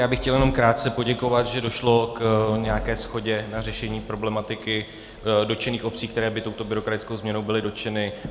Já bych chtěl jenom krátce poděkovat, že došlo k nějaké shodě na řešení problematiky dotčených obcí, které by touto byrokratickou změnou byly dotčeny.